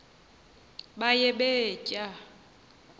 baye bee tyaa